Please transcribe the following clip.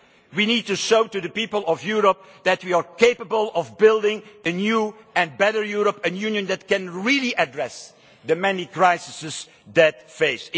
We need to show the people of Europe that we are capable of building a new and better Europe, a Union that can really address the many crises that it faces.